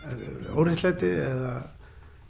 óréttlæti eða